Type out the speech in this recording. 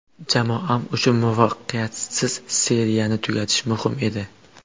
Jamoam uchun muvaffaqiyatsiz seriyani tugatish muhim edi.